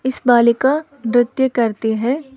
इस बालिका नृत्य करती है।